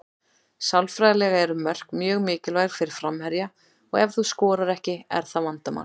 Sálfræðilega eru mörk mjög mikilvæg fyrir framherja og ef þú skorar ekki er það vandamál.